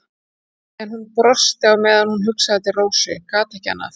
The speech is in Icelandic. En hún brosti á meðan hún hugsaði til Rósu, gat ekki annað.